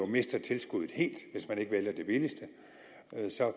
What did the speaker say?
mistet tilskuddet helt hvis man ikke vælger det billigste